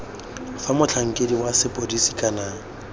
fa motlhankedi wa sepodisi kana